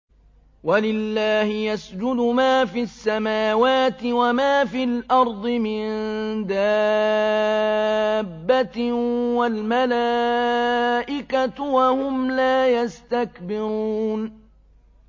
وَلِلَّهِ يَسْجُدُ مَا فِي السَّمَاوَاتِ وَمَا فِي الْأَرْضِ مِن دَابَّةٍ وَالْمَلَائِكَةُ وَهُمْ لَا يَسْتَكْبِرُونَ